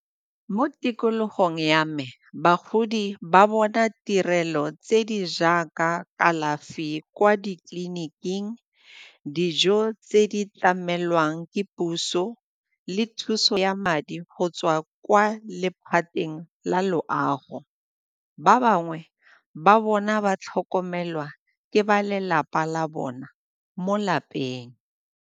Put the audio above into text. Mo tikologong ya me, bagodi ba bona tirelo tse di jaaka kalafi kwa ditleliniking, dijo tse di tlamelwang ke puso le thuso ya madi go tswa kwa lephateng la loago. Ba bangwe ba bona ba tlhokomelwa ke ba lelapa la bona mo lapeng.